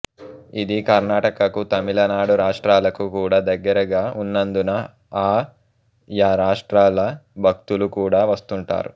ఇది కర్ణాటకకు తమిళ నాడు రాష్ట్రాలకు కూడా దగ్గరగా వున్నందున ఆ యా రాష్ట్రాల భక్తులు కూడా వస్తుంటారు